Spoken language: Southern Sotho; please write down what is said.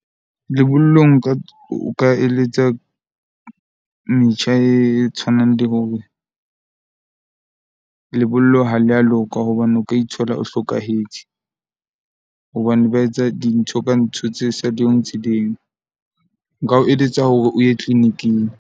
Lebollong nka o ka eletsa metjha e tshwanang, le hore lebollo ha le a loka hobane o ka ithola o hlokahetse. Hobane ba etsa dintho ka ntho tse sa di . Nka o eletsa hore o ye clinic-ing.